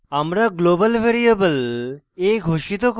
আমরা global variable a ঘোষিত করে